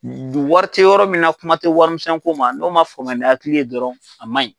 wari tɛ yɔrɔ min na kuma tɛ warimisɛnko ma n'o ma faamuya ni hakili ye dɔrɔn a ma ɲi.